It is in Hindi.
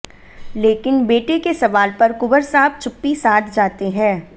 लेकिन बेटे के सवाल पर कुंवर साहब चुप्पी साध जाते हैं